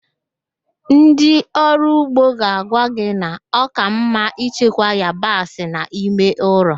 Ndị ọrụ ugbo ga-agwa gị na ọ ka mma ichekwa yabasị n'ime ụlọ